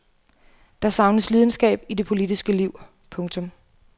Der savnes lidenskab i det politiske liv. punktum